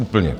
Úplně.